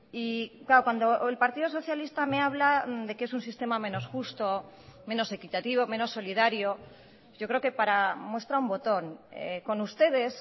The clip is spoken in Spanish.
y claro cuando el partido socialista me habla de que es un sistema menos justo menos equitativo menos solidario yo creo que para muestra un botón con ustedes